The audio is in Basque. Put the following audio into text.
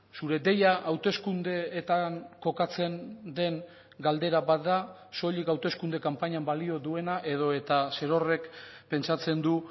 zure deia hauteskundeetan kokatzen den galdera bat da soilik hauteskunde kanpainan balio duena edo eta zerorrek pentsatzen du